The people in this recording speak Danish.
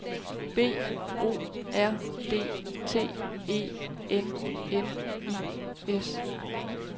B O R D T E N N I S